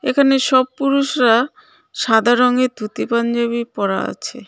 এখানে সব পুরুষরা সাদা রঙের ধুতি পাঞ্জাবি পরা আছে.